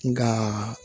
Nka